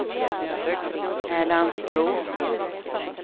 Älandsbro